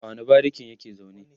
a wani barikin yake zaune?